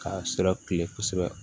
K'a sira kile kosɛbɛ